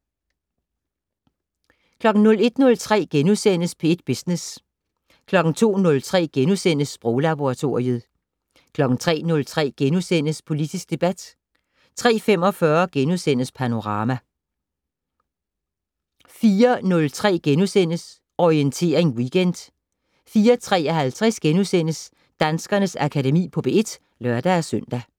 01:03: P1 Business * 02:03: Sproglaboratoriet * 03:03: Politisk debat * 03:45: Panorama * 04:03: Orientering Weekend * 04:53: Danskernes Akademi på P1 *(lør-søn)